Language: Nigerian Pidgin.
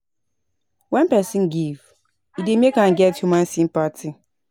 When perosn give e dey make am get human sympathy